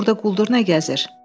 Burda quldur nə gəzir?